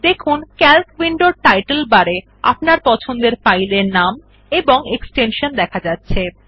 দেখুন ক্যালক উইন্ডোর টাইটল বারে আপনার পছন্দের ফাইলের নাম এবং এক্সটেনশন দেখা যাচ্ছে